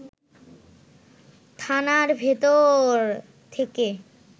থানার ভেতর থেকে